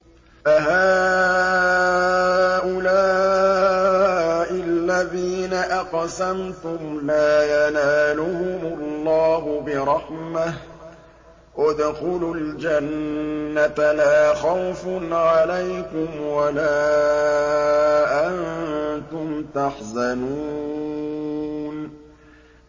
أَهَٰؤُلَاءِ الَّذِينَ أَقْسَمْتُمْ لَا يَنَالُهُمُ اللَّهُ بِرَحْمَةٍ ۚ ادْخُلُوا الْجَنَّةَ لَا خَوْفٌ عَلَيْكُمْ وَلَا أَنتُمْ تَحْزَنُونَ